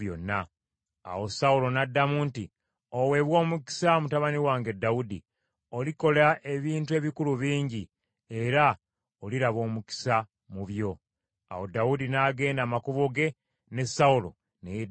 Awo Sawulo n’addamu nti, “Oweebwe omukisa mutabani wange Dawudi. Olikola ebintu ebikulu bingi era oliraba omukisa mu byo.” Awo Dawudi n’agenda amakubo ge, ne Sawulo ne yeddirayo ewuwe.